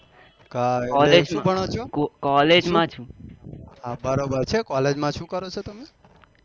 હા બરોબર છ collge માં શું કરો છો તમે?